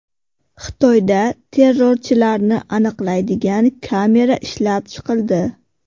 Xitoyda terrorchilarni aniqlaydigan kamera ishlab chiqildi.